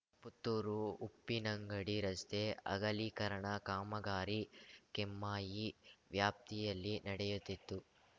ಪುತ್ತೂರುಉಪ್ಪಿನಂಗಡಿ ರಸ್ತೆ ಅಗಲೀಕರಣ ಕಾಮಗಾರಿ ಕೆಮ್ಮಾಯಿ ವ್ಯಾಪ್ತಿಯಲ್ಲಿ ನಡೆಯುತ್ತಿದ್ದು